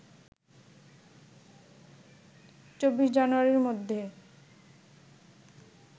২৪ জানুয়ারির মধ্যে